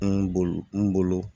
N bolo n bolo